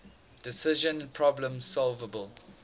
decision problems solvable